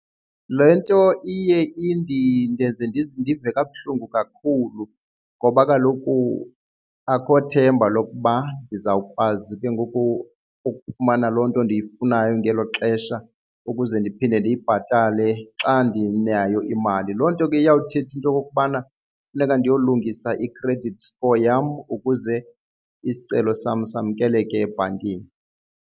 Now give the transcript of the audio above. Le nto iye ndenze ndive kabuhlungu kakhulu ngoba kaloku akho themba lokuba ndizawukwazi ke ngoku ukufumana loo nto ndiyifunayo ngelo xesha ukuze ndiphinde kubo ndiyibhatale xa ndinayo imali. Loo nto ke iyawuthetha into okokubana funeka ndiyolungisa i-credit score yam ukuze isicelo sam samkeleke ebhankini.